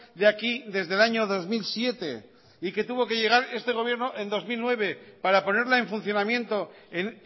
de aquí desde el año dos mil siete y que tuvo que llegar este gobierno en dos mil nueve para ponerla en funcionamiento en